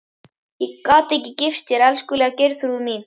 Ég gat ekki gifst þér, elskulega Geirþrúður mín.